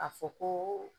A fɔ ko